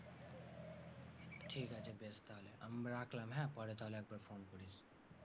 ঠিক আছে বেশ তাহলে, আমি রাখলাম হ্যাঁ পরে তাহলে একবার phone করিস।